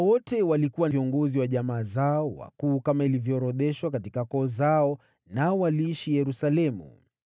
Hawa wote walikuwa viongozi wa jamaa zao wakuu, kama ilivyoorodheshwa katika koo zao, nao waliishi Yerusalemu.